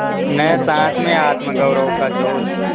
न सास में आत्मगौरव का जोश